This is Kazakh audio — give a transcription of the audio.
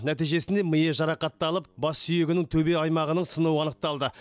нәтижесінде миы жарақатталып бас сүйегінің төбе аймағының сынуы анықталды